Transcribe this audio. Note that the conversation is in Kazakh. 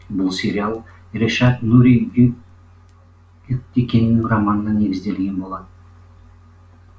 бұл сериал решат нури гюгтекинның романына негізделген болатын